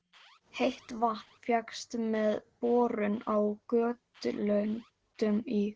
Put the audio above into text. Heitt vatn fékkst með borun á Gautlöndum í